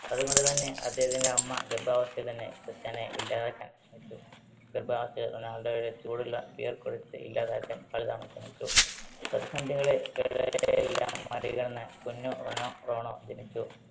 അത് കൊണ്ട് തന്നെ അദ്ദേഹത്തിന്റെ അമ്മ ഗർഭാവസ്ഥയിൽ തന്നെ ക്രിസ്റ്റ്യാനോയെ ഇല്ലാതാക്കാൻ ശ്രമിച്ചു. ഗർഭവസ്ഥയിൽ റൊണാൾഡോയെ ചൂടുള്ള beer കുടിച്ച്‌ ഇല്ലാതാക്കാൻ പലതവണ ശ്രമിച്ചു. പ്രതിസന്ധികളെ യെല്ലാം മറികടന്ന് കുഞ്ഞ് റോണോ, റോണോ ജനിച്ചു.